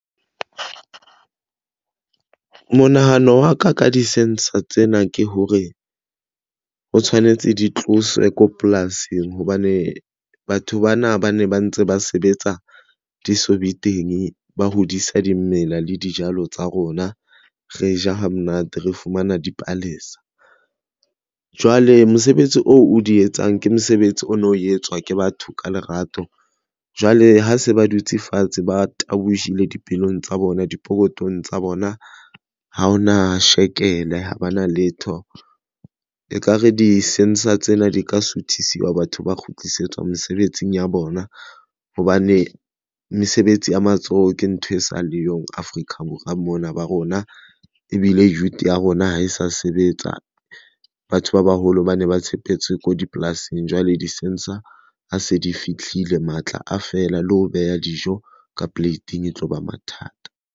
Monahano wa ka ka di-sensor tsena ke hore ho tshwanetse di tloswe ko polasing hobane batho bana ba ne ba ntse ba sebetsa di so be teng ba hodisa dimela le dijalo tsa rona. Re ja ha monate re fumana dipalesa jwale mosebetsi oo o di etsang ke mosebetsi o no etswa ke batho ka lerato. Jwale ha se ba dutse fatshe ba tabohile dipelong tsa bona di pokotong tsa bona. Ha ho na shakele ha ba na letho e kare di-sensor tsena di ka suthiswa. Batho ba kgutlisetswa mesebetsing ya bona hobane mesebetsi ya matsoho ke ntho e sa le yo Afrika Borwa mona ba rona. Ebile youth ya rona ha e sa sebetsa batho ba baholo ba ne ba tshepetse ko dipolasing jwale di-sensor ha se di fihlile matla a fela le ho beha dijo ka plate-eng e tloba mathata.